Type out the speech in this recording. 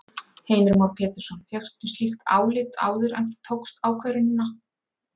Heimir Már Pétursson: Fékkstu slíkt álit áður en þú tókst ákvörðunina?